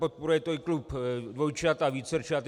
Podporuje to i klub dvojčat a vícerčat.